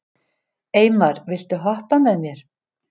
Eymar, viltu hoppa með mér?